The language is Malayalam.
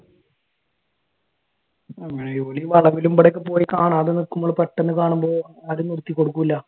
ഈ വളവിലും ഇവിടെയും ഒക്കെ പോയി കാണാതെ നിക്കുമ്പോ പെട്ടെന്ന് കാണുമ്പോ ആരും നിർത്തി കൊടുക്കൂല.